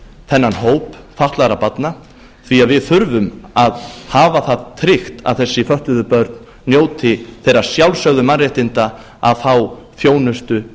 þennan hóp fatlaðra barna því að við þurfum að hafa það tryggt að þessi fötluðu börn njóti þeirra sjálfsögðu mannréttinda að fá þjónustu